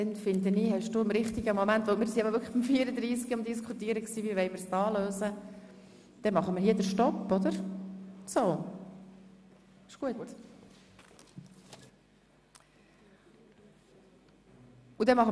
Dann haben Sie, finde ich, die Frage nach der Diskussion im richtigen Moment gestellt, sodass wir hier unterbrechen.